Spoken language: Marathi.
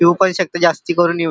येऊ पण शकते जास्ती करुन--